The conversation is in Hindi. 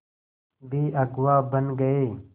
भी अगुवा बन गए